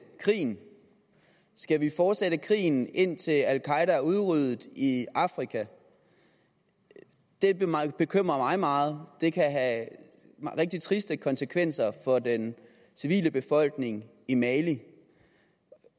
krigen skal vi fortsætte krigen indtil al qaeda er udryddet i afrika det bekymrer mig meget det kan have rigtig triste konsekvenser for den civile befolkning i mali